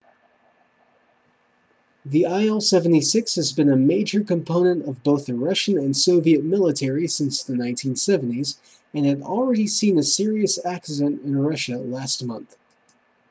the il-76 has been a major component of both the russian and soviet military since the 1970s and had already seen a serious accident in russia last month